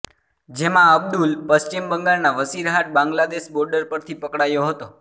જેમાં અબ્દુલ પશ્ચિમ બંગાળના વશીરહાટ બાંગ્લાદેશ બોર્ડર પરથી પકડાયો હતો